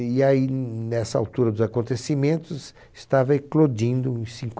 E aí nessa altura dos acontecimentos estava eclodindo em